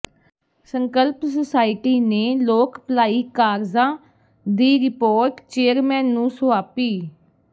ਸੰਕਲਪ ਸੁਸਾਇਟੀ ਨੇ ਲੋਕ ਭਲਾਈ ਕਾਰਜਾਂ ਦੀ ਰਿਪੋਰਟ ਚੇਅਰਮੈਨ ਨੂੰ ਸੌ ਾਪੀ